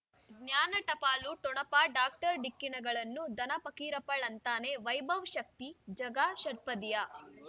ಜ್ಞಾನ ಟಪಾಲು ಠೊಣಪ ಡಾಕ್ಟರ್ ಢಿಕ್ಕಿ ಣಗಳನು ಧನ ಫಕೀರಪ್ಪ ಳಂತಾನೆ ವೈಭವ್ ಶಕ್ತಿ ಝಗಾ ಷಟ್ಪದಿಯ